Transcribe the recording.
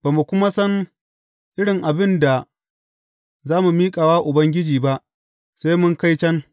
Ba mu kuma san irin abin da za mu miƙa wa Ubangiji ba, sai mun kai can.